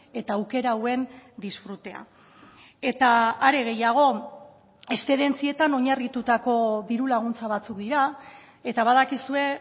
eta aukera hauen disfrutea eta hare gehiago eszedentzietan oinarritutako diru laguntza batzuk dira eta badakizue